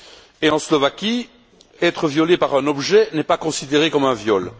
Et en Slovaquie, être violé par un objet n'est pas considéré comme un viol.